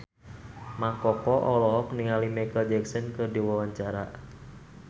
Mang Koko olohok ningali Micheal Jackson keur diwawancara